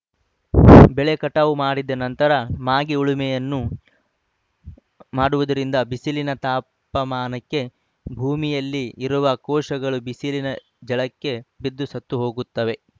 ಬೆಳೆ ಕಟಾವು ಮಾಡಿದ ನಂತರ ಮಾಗಿ ಉಳುಮೆಯನ್ನು ಮಾಡುವುದರಿಂದ ಬಿಸಿಲಿನ ತಾಪಮಾನಕ್ಕೆ ಭೂಮಿಯಲ್ಲಿ ಇರುವ ಕೋಶಗಳು ಬಿಸಿಲಿನ ಜಳಕ್ಕೆ ಬಿದ್ದು ಸತ್ತುಹೋಗುತ್ತವೆ